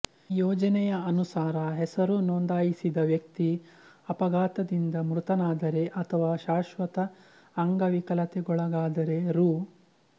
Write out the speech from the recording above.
ಈ ಯೋಜನೆಯ ಅನುಸಾರ ಹೆಸರು ನೊಂದಾಯಿಸಿದ ವ್ಯಕ್ತಿ ಅಪಘಾತದಿಂದ ಮೃತನಾದರೆ ಅಥವಾ ಶಾಶ್ವತ ಅಂಗವಿಕಲತೆಗೊಳಗಾದರೆ ರೂ